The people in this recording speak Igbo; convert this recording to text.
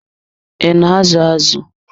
I na azu azụ?